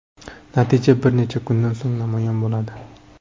Natija bir necha kundan so‘ng namoyon bo‘ladi.